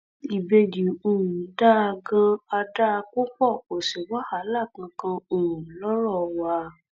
ìbejì um dáa ganan á dáa púpọ kó sì wàhálà kankan um lọrọ wa